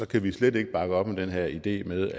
kan vi slet ikke bakke op om den her idé med